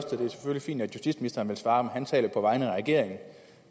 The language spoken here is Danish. fint at justitsministeren vil svare men han taler på vegne af regeringen